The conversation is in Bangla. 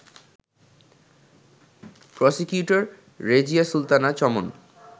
প্রসিকিউটর রেজিয়া সুলতানা চমন